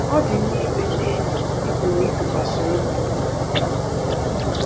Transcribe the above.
Ọ dị mma inwe ndị enyi ị pụrụ ịtụkwasị obi.